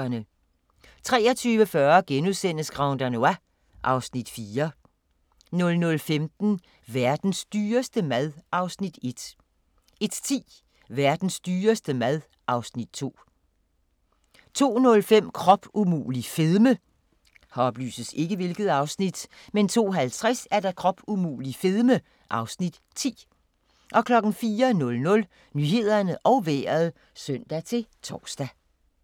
23:40: Grand Danois (Afs. 4)* 00:15: Verdens dyreste mad (Afs. 1) 01:10: Verdens dyreste mad (Afs. 2) 02:05: Krop umulig – fedme 02:50: Krop umulig – fedme (Afs. 10) 04:00: Nyhederne og Vejret (søn-tor)